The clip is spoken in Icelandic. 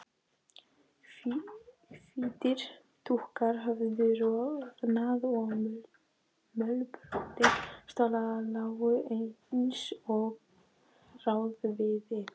Það veldur bæði andvökum og sálarflækjum.